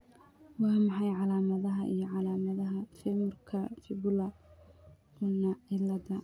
Waa maxay calaamadaha iyo calaamadaha Femurka fibula ulna ciladha